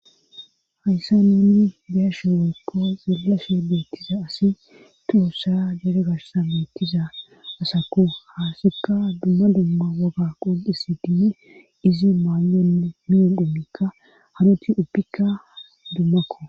Hayssa nuuni beashe woykko zeelashe beettiza asi tuussa dere gashsa beettiza asakko haasikka dumma lumma woga qoqisi diyi izi maayonne miyoon dhumikka hanoti uppikka dummakko.